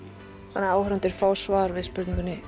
þannig að áhorfendur fá svar við spurningunni